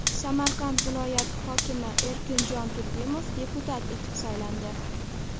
Samarqand viloyati hokimi Erkinjon Turdimov deputat etib saylandi.